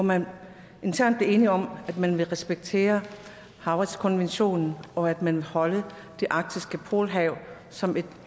man enige om at man ville respektere havretskonventionen og at man ville holde det arktiske polarhav som et